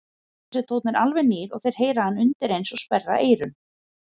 Þessi tónn er alveg nýr og þeir heyra hann undireins og sperra eyrun.